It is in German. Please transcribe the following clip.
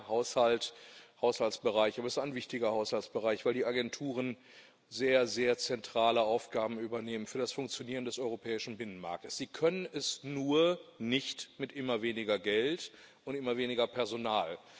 Es ist ein sehr kleiner Haushaltsbereich, aber es ist ein wichtiger Haushaltsbereich, weil die Agenturen sehr, sehr zentrale Aufgaben für das Funktionieren des europäischen Binnenmarktes übernehmen. Sie können es nur nicht mit immer weniger Geld und immer weniger Personal.